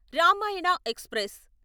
Ramayana express